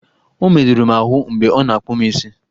Ọmerụrụ m ahụ mgbe ọ na-akpụ m isi!